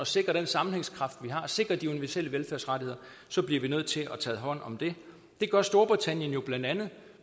sikre den sammenhængskraft vi har og sikre de universelle velfærdsrettigheder bliver vi nødt til at tage hånd om det det gør storbritannien jo blandt andet